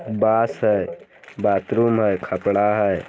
बास है बाथरूम है खपड़ा है।